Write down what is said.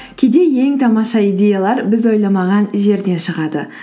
кейде ең тамаша идеялар біз ойламаған жерден шығады